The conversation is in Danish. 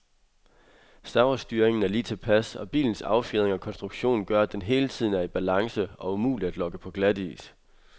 Servostyringen er lige tilpas, og bilens affjedring og konstruktion gør, at den hele tiden er i balance og umulig at lokke på glatis.